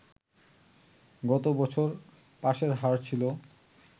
গত বছর পাসের হার ছিল